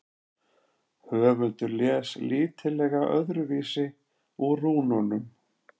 höfundur les lítillega öðruvísi úr rúnunum